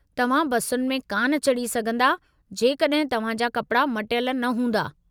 तव्हां बसुनि में कान चढ़ी सघिन्दा जेकड॒हिं तव्हां जा कपड़ा मटियलु न हूंदा।